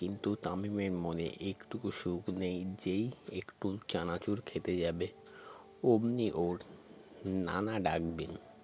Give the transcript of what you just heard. কিন্তু তামিমের মনে একটুকো সুখ নেই যেই একটু চানাচুর খেতে যাবে অমনি ওর নানা ডাকবেন